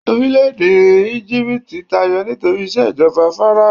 orilẹ ede ijipiti tayọ nitori ìṣèjọba fáráò